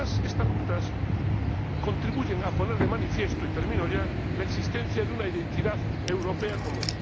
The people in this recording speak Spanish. Y además, estas rutas contribuyen a poner de manifiesto —y termino ya— la existencia de una identidad europea común.